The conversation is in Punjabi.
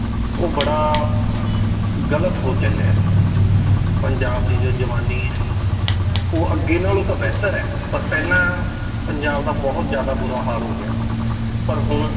ਉਹ ਬੜਾ ਗ਼ਲਤ ਹੋ ਚੱਲਿਆ ਹੈ ਪੰਜਾਬ ਦੀ ਜੋ ਜਵਾਨੀ ਹੈ ਉਹ ਅੱਗੇ ਨਾਲੋਂ ਤਾਂ ਬਿਹਤਰ ਹੈ ਪਰ ਪਹਿਲਾਂ ਪੰਜਾਬ ਦਾ ਬਹੁਤ ਜ਼ਿਆਦਾ ਬੁਰਾ ਹਾਲ ਹੋ ਗਿਆ ਸੀ ਪਰ ਹੁਣ